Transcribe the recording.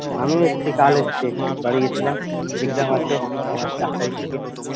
আমিও এসছি কাল এসছি বাড়ি গেছিলাম exam আছে আবার চার তারিখ থেকে